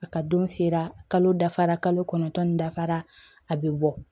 A ka don sera kalo dafara kalo kɔnɔntɔn ni dafara a bɛ bɔ